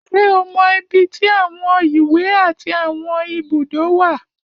Ṣé o mọ ibi tí àwọn ìwé àti àwọn ibùdó wà?